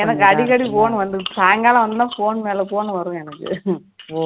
எனக்கு அடிகடி phone வந்து சாய்ங்காலம் ஆனதும் phone மேல phone வரும் எனக்கு